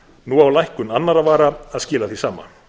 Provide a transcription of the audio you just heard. nú á lækkun annarra vara að skila því sama